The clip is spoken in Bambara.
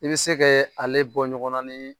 I bɛ se kɛ ale bɔ ɲɔgɔnna ni